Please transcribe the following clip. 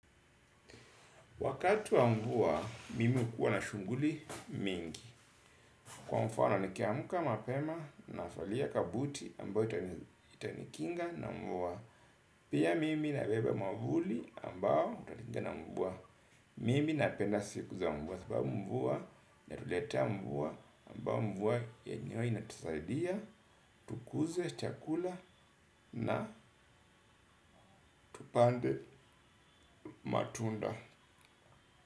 Wakati wa mvua, mimi hukuwa na shughuli mingi, kwa mfano nikiamka mapema navalia kabuti ambayo itanikinga na mvua. Pia mimi nabeba mwavuli ambao utanikinga na mvua. Mimi napenda siku za mvua sababu mvua inatuletea mvua ambao mvua yenyewe inatusaidia tukuze, chakula na tupande matunda.